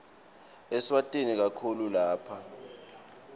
eswatini kakhulu lapha